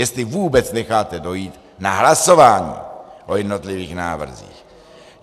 Jestli vůbec necháte dojít na hlasování o jednotlivých návrzích.